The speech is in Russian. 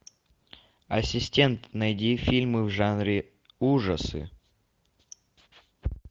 ассистент найди фильмы в жанре ужасы